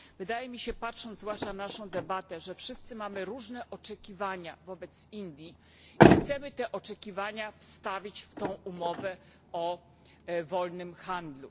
Wydaje mi się, zwłaszcza patrząc na naszą debatę, że wszyscy mamy różne oczekiwana wobec Indii i chcemy te oczekiwania wstawić w tę umowę o wolnym handlu.